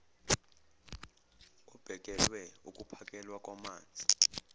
obhekele ukuphakelwa kwamanzi